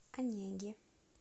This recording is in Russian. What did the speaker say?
онеги